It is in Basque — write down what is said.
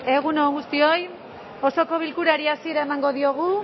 egun on guztioi osoko bilkurari hasiera emango diogu